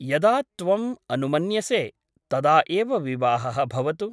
यदा त्वम् अनुमन्यसे तदा एव विवाहः भवतु ।